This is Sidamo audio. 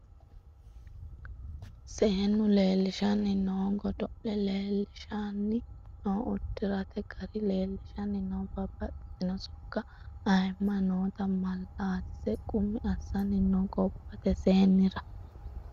Seenu leelishshani no godo'le leelishshani no uddirate gari leelishanni no babbaxxitino sokkanna ayimma nootta malaatise qummi assani no gobbate seennira.